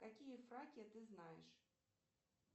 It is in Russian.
какие фракия ты знаешь